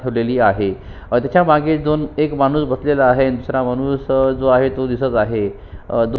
ठेवलेली आहे तेच्या मागे दोन एक माणुस बसलेला आहे अन दूसरा माणूस अ जो आहे तो दिसत आहे अ दो--